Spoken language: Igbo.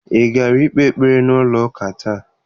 Ị gara ikpe ekpere n'ụlọ ụka taa?